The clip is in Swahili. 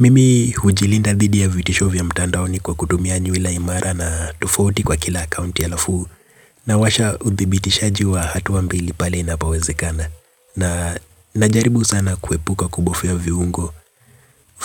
Mimi hujilinda bithi ya vitisho vya mtandaoni kwa kutumia nywila imara na tufoti kwa kila akaunti alafu na washa uthibitishaji wa hatu mbili pale inapowezekana na najaribu sana kuepuka kubofia viungo